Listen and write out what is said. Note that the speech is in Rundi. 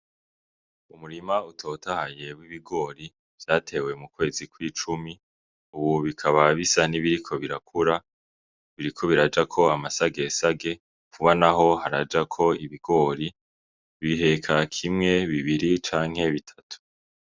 Umurima utotahaye w'ibigori vyatewe mu kwezi kw'icumi ubu bikaba bisa n'ibiriko birakura , biriko birajako amasagesage vuba naho harajako ibigori , biheka kimwe canke bitatu.